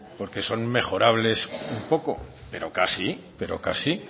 porque son mejorables un poco pero casi pero casi